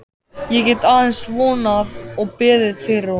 Ég get aðeins vonað og beðið fyrir honum.